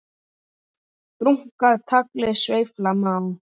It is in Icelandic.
Brúnka tagli sveifla má.